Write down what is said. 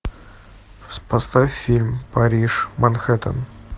поставь фильм париж манхэттен